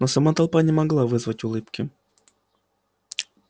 но сама толпа не могла вызвать улыбки